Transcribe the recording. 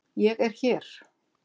ÉG ER HÉR!